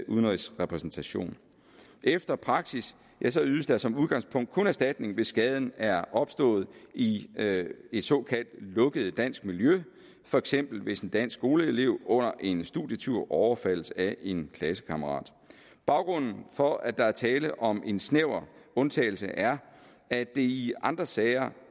udenrigsrepræsentation efter praksis ydes der som udgangspunkt kun erstatning hvis skaden er opstået i et såkaldt lukket dansk miljø for eksempel hvis en dansk skoleelev under en studietur overfaldes af en klassekammerat baggrunden for at der er tale om en snæver undtagelse er at det i andre sager